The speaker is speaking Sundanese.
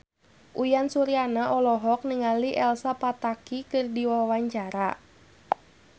Uyan Suryana olohok ningali Elsa Pataky keur diwawancara